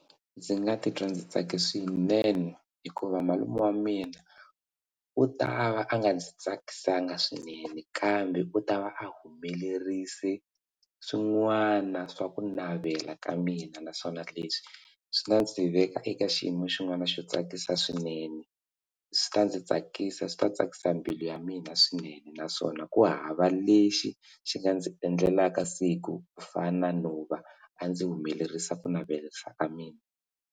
Ndzi nga ti twa ndzi tsake swinene hikuva malume wa mina u ta va a nga ndzi tsakisaka swinene kambe u ta va a humelerise swin'wana swa ku navela ka mina naswona leswi swi nga ndzi veka eka xiyimo xin'wana xo tsakisa swinene swi ta ndzi tsakisa swi ta tsakisa mbilu ya mina swinene naswona ku hava lexi xi nga ndzi endlelaka siku ku fana no va a ndzi humelerisa ku navelerisa ka mina.